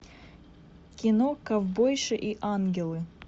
кино ковбойши и ангелы